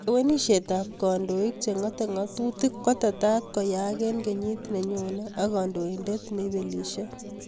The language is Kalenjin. Lewenishet ab kandoik che ngatei ngatutik kotetat koiyaak eng kenyi ninyonee ak kandoinendet neibelishei